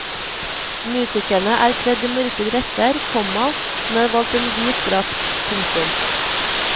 Musikerne er kledd i mørke dresser, komma hun har valgt en hvit drakt. punktum